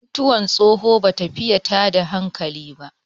mutuwar tsoho ba ta fiye tada hankali ba